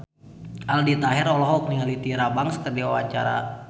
Aldi Taher olohok ningali Tyra Banks keur diwawancara